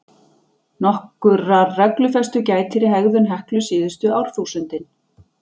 Nokkurrar reglufestu gætir í hegðun Heklu síðustu árþúsundin.